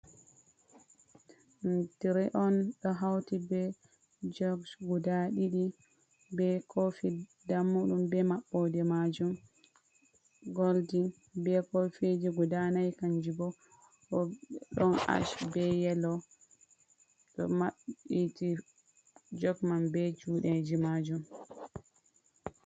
Ɗum trey on, ɗo hauti be jogs guda ɗiɗi, be kofi dammuɗum, be maɓɓode maajum goldin, be kofiji guda nai kanji bo, ɗon ash be yelo ɗo maɓɓiti, jog man be juuɗeji maajum.